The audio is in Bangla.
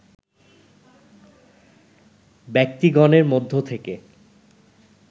ব্যক্তিগণের মধ্য থেকে